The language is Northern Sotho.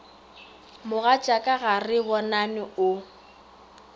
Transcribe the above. mogatšaka ga re bonane o